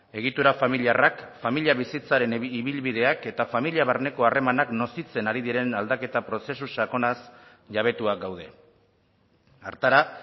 egitura familiarrak familia bizitzaren ibilbideak eta familia barneko harremanak nozitzen ari diren aldaketa prozesu sakonaz jabetuak gaude hartara